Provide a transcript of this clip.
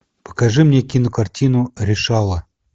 покажи мне кинокартину решала